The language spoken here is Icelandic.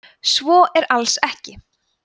svo er alls ekki